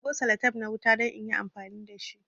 Na karbo salatep na wuta don inyi amfani dashi